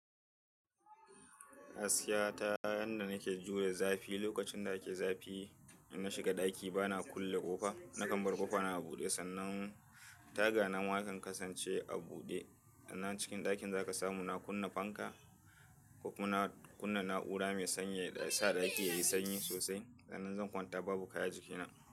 Gaskiya ta yadda na ke jure zafi. Lokacin da ake zafi, in na shiga ɗaki ba na kulle ƙofa. Nakan bar ƙofa na a buɗe sannan taga na ma ya kan kasance a buɗe. Sannan cikin ɗakin za ka samu na kunna fanka ko kuma na kunna na'ura mai sanyi da ya sa ɗakin yayi sanyi sosai. Sannan zan kwanta babu kaya jikina.